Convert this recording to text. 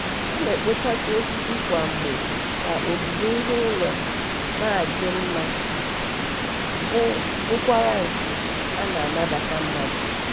ọ na-ekpochasị osisi kwa mgbe ka ogige ihu ụlọ na-adị mma bụ bụrụkwa nke na-anabata mmadụ.